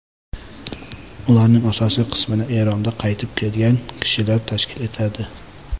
Ularning asosiy qismini Erondan qaytib kelgan kishilar tashkil etadi.